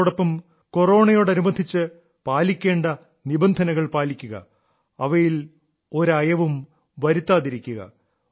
അതോടൊപ്പം കൊറോണയോടനുബന്ധിച്ച് പാലിക്കേണ്ട നിബന്ധനകൾ പാലിക്കുക അവയിൽ ഒരയവും വരുത്താതിരിക്കുക